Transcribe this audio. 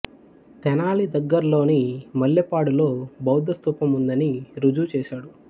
తెనాలి దగ్గర్లోని మల్లెపాడు లో బౌద్ధస్థూపం ఉందని రుజువు చేశాడు